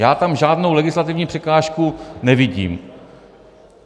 Já tam žádnou legislativní překážku nevidím.